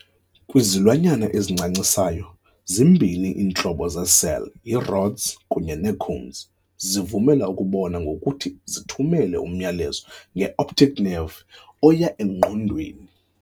Kwizilwanyana ezincancisayo, zimbini iintlobo zeecell, yi"rods" kunye ne"cones", zivumela ukubona ngokuthi zithumele umyalezo ngeoptic nerve oyaengqondweni.